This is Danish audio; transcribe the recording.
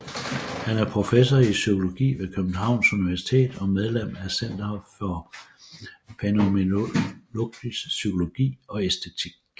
Han er professor i psykologi ved Københavns Universitet og medlem af Center for fænomenologisk psykologi og æstetik